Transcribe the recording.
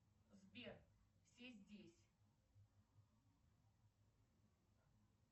сбер все здесь